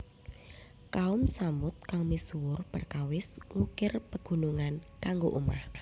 Kaum Tsamud kang misuwur perkawis ngukir pegunungan kanggo omah